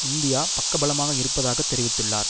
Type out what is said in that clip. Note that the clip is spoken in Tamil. இந்தியா பக்கபலமாக இருப்பதாக தெரிவித்துள்ளார்